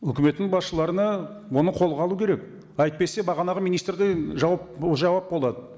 өкіметтің басшыларына оны қолға алу керек әйтпесе бағанағы министрдей жауап жауап болады